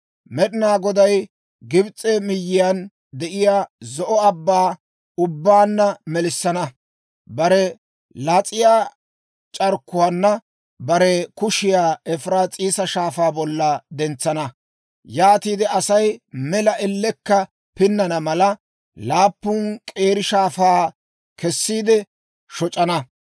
Med'inaa Goday Gibs'e miyyiyaan de'iyaa Zo'o Abbaa ubbaanna melissana; bare las'iyaa c'arkkuwaana bare kushiyaa Efiraas'iisa Shaafaa bolla dentsana. Yaatiide Asay mela ellekka pinnana mala, laappun k'eeri shaafaa kessiide shoc'ana.